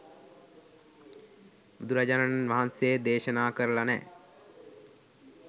බුදුරජාණන් වහන්සේ දේශනා කරල නෑ.